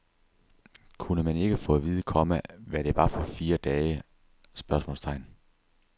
Kunne man ikke få at vide, komma hvad det var for fire dage? spørgsmålstegn